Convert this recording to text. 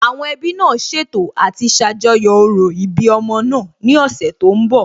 Àwọn ẹbí náà ṣètò àti ṣàjọyọ̀ òro ìbí ọmọ náà ní ọ̀sẹ̀ tó ń bọ̀